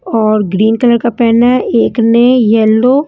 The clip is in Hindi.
और ग्रीन कलर का पेन है एक ने येलो --